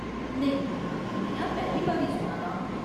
नेईं, नेहा पैह्‌ली बारी सुना दा आं !